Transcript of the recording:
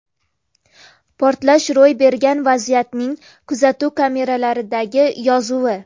Portlash ro‘y bergan vaziyatning kuzatuv kameralaridagi yozuvi.